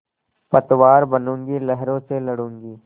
पतवार बनूँगी लहरों से लडूँगी